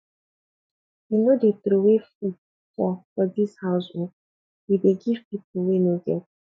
we no dey troway food for for dis house o we dey give pipu wey no get